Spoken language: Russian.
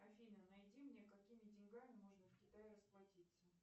афина найди мне какими деньгами можно в китае расплатиться